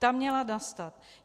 Ta měla nastat.